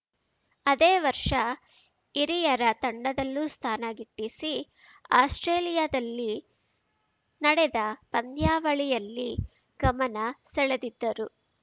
ಅದೇ ವರ್ಷ ಹಿರಿಯರ ತಂಡದಲ್ಲೂ ಸ್ಥಾನ ಗಿಟ್ಟಿಸಿ ಆಸ್ಪ್ರೇಲಿಯಾದಲ್ಲಿ ನಡೆದ ಪಂದ್ಯಾವಳಿಯಲ್ಲಿ ಗಮನ ಸೆಳೆದಿದ್ದರು